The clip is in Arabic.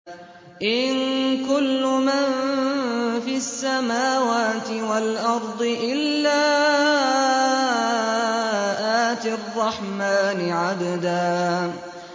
إِن كُلُّ مَن فِي السَّمَاوَاتِ وَالْأَرْضِ إِلَّا آتِي الرَّحْمَٰنِ عَبْدًا